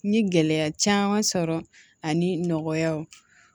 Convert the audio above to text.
N ye gɛlɛya caman sɔrɔ ani nɔgɔyaw